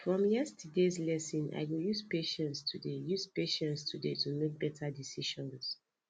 from yesterdays lesson i go use patience today use patience today to make better decisions